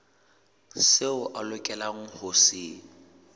seo a lokelang ho se